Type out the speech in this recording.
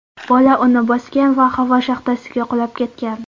Bola uni bosgan va havo shaxtasiga qulab ketgan.